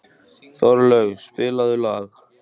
Þorlaug, spilaðu lag.